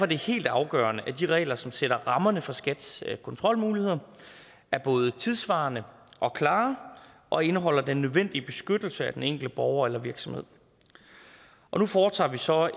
det helt afgørende at de regler som sætter rammerne for skats kontrolmuligheder er både tidssvarende og klare og indeholder den nødvendige beskyttelse af den enkelte borger eller virksomhed nu foretager vi så